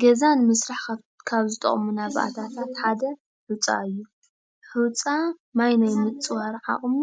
ገዛ ንምስራሕ ካብ ዝጠቅሙና ባእታታት ሓደ ሑፃ እዩ ሑፃ ማይ ናይ ምፅዋር ዓቅሙ